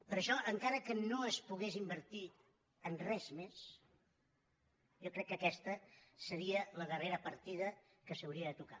per això encara que no es pogués invertir en res més jo crec que aquesta seria la darrera partida que s’hauria de tocar